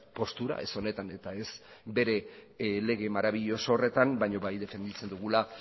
postura ez honetan eta ez bere lege marabiloso horretan baina bai defenditzen dugula